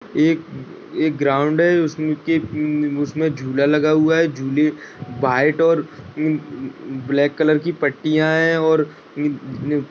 एक एक ग्राउंड है। उसके उसमे एक झूला लगा हुआ है झुले में व्हाइट और ब्लैक कलर की पट्टिया हैं और --